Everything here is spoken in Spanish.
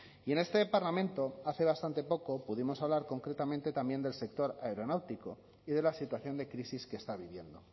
y en este parlamento hace bastante poco pudimos hablar concretamente también del sector aeronáutico y de la situación de crisis que está viviendo